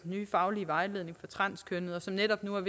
nye faglige vejledning for transkønnede som netop nu er